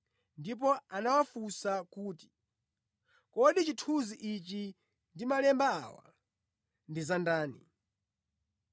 ndipo anawafunsa kuti, “Kodi chithunzi ichi ndi malemba awa ndi za ndani?”